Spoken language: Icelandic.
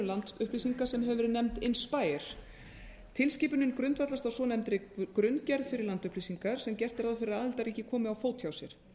landupplýsinga sem hefur verið nefnd inspire tilskipunin grundvallast á svonefndri grunngerð fyrir landupplýsingar sem gert er ráð fyrir að aðildarríki komi á fót hjá sér